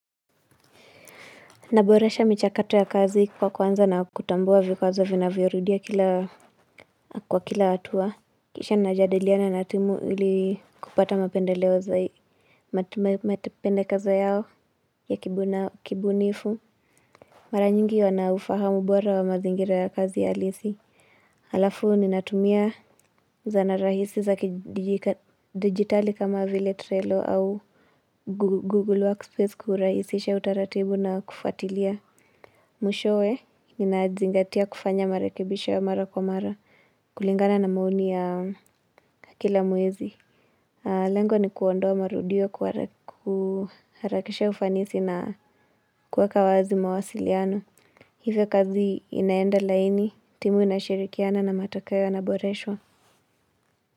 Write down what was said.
Naboresha michakato ya kazi kwa kuanza na kutambua vikwazo vinavyo rudia kila kwa kila hatua Kisha najadiliana na timu ili kupata mapendeleo za hii Mati mapendekezo yao ya kibunifu Mara nyingi wanaufahamu bora wa mazingira ya kazi ya halisi Alafu ni natumia zana rahisi za kidigitali kama vile trelo au Google workspace kurahisisha utaratibu na kufatilia Mushowe, ninazingatia kufanya marakebisho ya mara kwa mara, kulingana na maoni ya kila mwezi. Lengo ni kuondoa marudio kuraharakisha ufanisi na kuweka wazi mawasiliano. Hivyo kazi inaenda laini, timu inashirikiana na matakeo yana boreshwa.